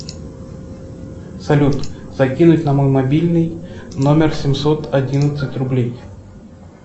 салют закинуть на мой мобильный номер семьсот одиннадцать рублей